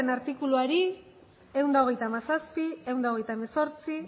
artikuluari ehun eta hogeita hamazazpi ehun eta hogeita hemezortzi